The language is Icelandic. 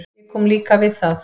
Ég kom líka við það.